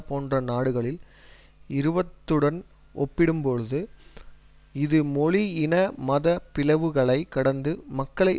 போன்ற நாடுகளில் இருப்பத்துடன் ஒப்பிடும்பொழுது இது மொழி இன மத பிளவுகளை கடந்து மக்களை